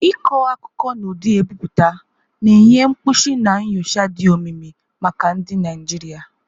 Ịkọ akụkọ n'ụdị ebipụta, na-enye mkpuchi na nyocha dị omimi maka ndị Naijiria.